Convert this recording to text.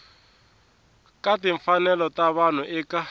ka timfanelo ta vanhu eka